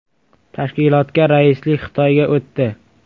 Tashkilotga raislik Xitoyga o‘tdi.